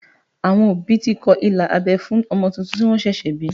Àwọn òbí ti kọ ilà abẹ́ fún ọmọ tuntun tí wọ́n ṣẹ̀ṣẹ̀ bí